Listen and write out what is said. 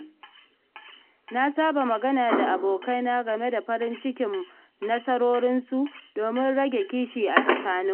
Na saba magana da abokaina game da farin cikin nasarorinsu domin rage kishi a tsakaninmu.